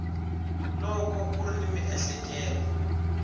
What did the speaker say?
loko u ri ni miehleketo